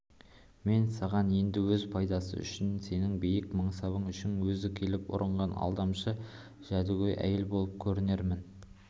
мен саған енді өз пайдасы үшін сенің биік мансабың үшін өзі келіп ұрынған алдамшы жәдігөй әйел болып көрінермін